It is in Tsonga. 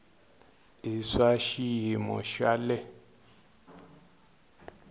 i swa xiyimo xa le